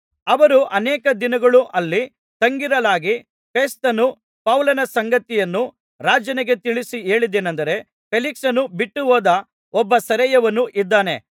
ಅವರು ಅನೇಕ ದಿನಗಳು ಅಲ್ಲಿ ತಂಗಿರಲಾಗಿ ಫೆಸ್ತನು ಪೌಲನ ಸಂಗತಿಯನ್ನು ರಾಜನಿಗೆ ತಿಳಿಸಿ ಹೇಳಿದ್ದೇನಂದರೆ ಫೇಲಿಕ್ಸನು ಬಿಟ್ಟುಹೋದ ಒಬ್ಬ ಸೆರೆಯವನು ಇದ್ದಾನೆ